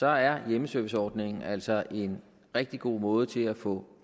er hjemmeserviceordningen altså en rigtig god måde til at få